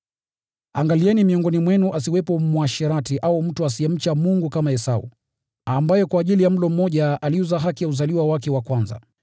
Angalieni miongoni mwenu asiwepo mwasherati au mtu asiyemcha Mungu kama Esau, ambaye kwa ajili ya mlo mmoja aliuza haki ya uzaliwa wake wa kwanza.